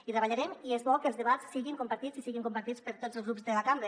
hi treballarem i és bo que els debats siguin compartits i siguin compartits per tots els grups de la cambra